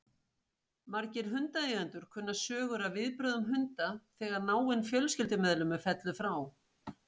Margir hundaeigendur kunna sögur af viðbrögðum hunda þegar náinn fjölskyldumeðlimur fellur frá.